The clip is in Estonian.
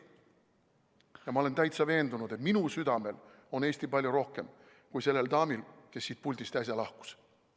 Ja ma olen täitsa veendunud, et minu südamel on Eesti palju rohkem kui sellel daamil, kes siit puldist äsja lahkus.